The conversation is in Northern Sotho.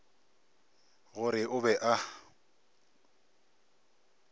go re o be a